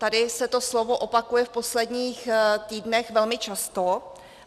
Tady se to slovo opakuje v posledních týdnech velmi často.